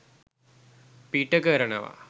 පිට කරනවා.